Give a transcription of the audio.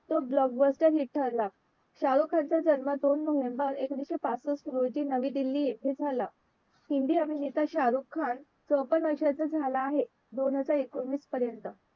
तो blockblaster hit ठरला शारुख खान चा जन्म दोन नोव्हेंबर एकोणविशे पासष्ट रोजी नवी दिल्ली येथे झाला हिंदी अभिनेता शारुख खान चोपण वर्षांचा झाला आहे दोन हजार एकोणवीस पर्यंत